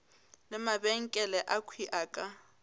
le mabenkele akhwi a ka